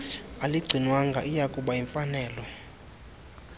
aligcinwanga iyakuba yimfanelo